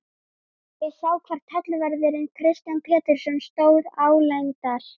Ég sá hvar tollvörðurinn Kristján Pétursson stóð álengdar.